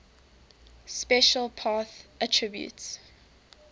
special path attribute